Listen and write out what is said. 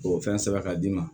O fɛn sɛbɛn ka d'i ma